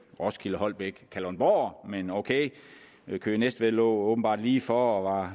roskilde holbæk kalundborg men ok køge næstved lå åbenbart lige for og var